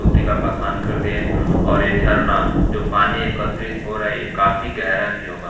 का बखान कर दिया है और ये झरना जो पानी एकत्रित हो रहा है ये काफी गहरा भी होगा--